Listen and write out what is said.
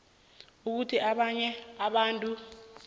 ukuthi abanye abantu